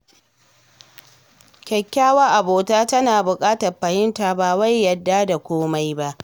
Kyakkyawar abota tana bukatar fahimta, ba wai yarda da komai ba.